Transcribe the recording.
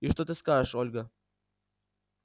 и что ты скажешь ольга